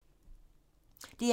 DR1